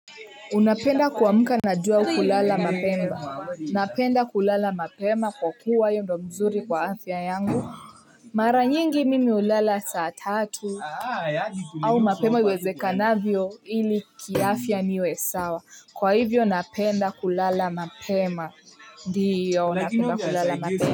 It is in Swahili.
Unapenda kwamuka na jua au kulala mapema, napenda kulala mapema kwa kuwa hiyo ndo mzuri kwa afya yangu. Mara nyingi mimi ulala saa tatu, au mapema uweze kanavyo ili kiafya niwe sawa, kwa hivyo napenda kulala mapema, ndiyo napenda kulala mapema.